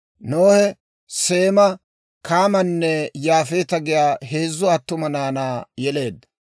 Nohe Seema, Kaamanne Yaafeeta giyaa heezzu attuma naanaa yeleedda.